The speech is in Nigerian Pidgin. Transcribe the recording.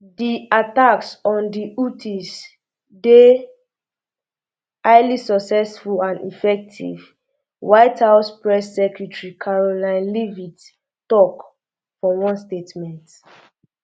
di attacks on di houthis dey highly successful and effective white house press secretary karoline leavitt tok for one statement um